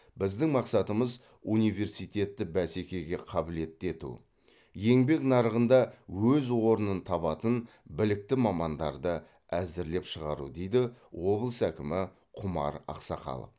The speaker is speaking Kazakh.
біздің мақсатымыз университетті бәсекеге қабілетті ету еңбек нарығында өз орнын табатын білікті мамандарды әзірлеп шығару дейді облыс әкімі құмар ақсақалов